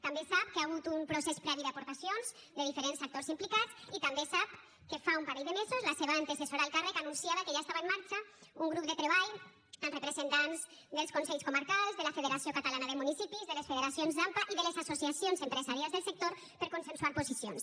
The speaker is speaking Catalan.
també sap que hi ha hagut un procés previ d’aportacions de diferents actors implicats i també sap que fa un parell de mesos la seva antecessora al càrrec anunciava que ja estava en marxa un grup de treball amb representants dels consells comarcals de la federació catalana de municipis de les federacions d’ampa i de les associacions empresarials del sector per consensuar posicions